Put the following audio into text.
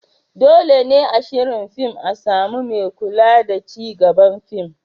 Dole ne a shirin fin a samu mai kula da ci gaban fin.